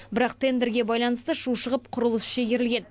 бірақ тендерге байланысты шу шығып құрылыс шегерілген